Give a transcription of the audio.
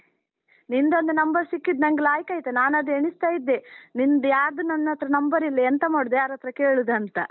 ನಿಂದೊನ್ದು number ಸಿಕ್ಕಿದ್ದು ನಂಗ್ ಲಾಯ್ಕ್ ಆಯ್ತು, ನಾನದು ಎಣಿಸ್ತಾ ಇದ್ದೆ, ನಿನ್ದು ಯಾರ್ದೂ ನನ್ಹತ್ರ number ಇಲ್ಲ, ಎಂತ ಮಾಡುದು, ಯಾರತ್ರ ಕೇಳುದಂತ?